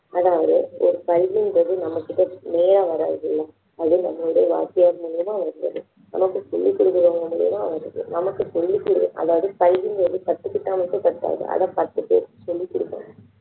அதாவது ஒரு கல்வின்றது நம்மகிட்ட நேரா வராதுங்க அது நம்மளுடைய வாத்தியார் மூலமா வருவது நமக்கு சொல்லிக் கொடுக்கிறவங்க மூலியமா வருது நமக்கு சொல்லிக் கொடு அதாவது கல்விங்குறது கத்துக்கிட்டா மட்டும் பத்தாது அதை பத்து பேருக்கு சொல்லிக் கொடுக்கணும்